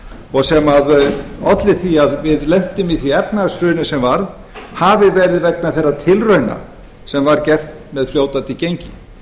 og sem olli því að við lentum í því efnahagshruni sem varð hafi verið vegna þeirra tilrauna sem var gert með fljótandi gengi